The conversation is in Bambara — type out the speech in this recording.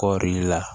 Kɔɔri la